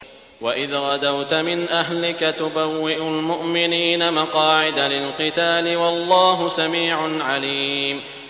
وَإِذْ غَدَوْتَ مِنْ أَهْلِكَ تُبَوِّئُ الْمُؤْمِنِينَ مَقَاعِدَ لِلْقِتَالِ ۗ وَاللَّهُ سَمِيعٌ عَلِيمٌ